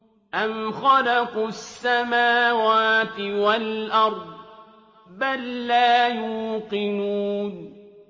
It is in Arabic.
أَمْ خَلَقُوا السَّمَاوَاتِ وَالْأَرْضَ ۚ بَل لَّا يُوقِنُونَ